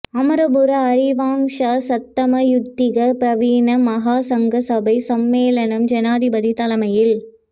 அமரபுர அரியவங்ஷ சத்தம்ம யுக்திக பிரிவின் மகா சங்க சபை சம்மேளனம் ஜனாதிபதி தலைமையில்